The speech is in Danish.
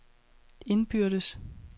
indbyrdes